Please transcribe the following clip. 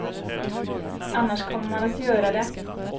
Annars kommer man att göra det.